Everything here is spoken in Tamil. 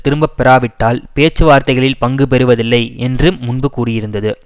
திரும்ப பெறாவிட்டால் பேச்சு வார்த்தைகளில் பங்கு பெறுவதில்லை என்று முன்பு கூறியிருந்தது